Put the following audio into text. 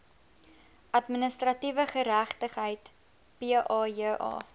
administratiewe geregtigheid paja